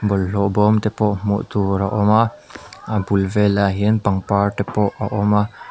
bawlhlawh bawm te pawh hmuh tur a awm a a bul velah hian pangpar te pawh a awm a.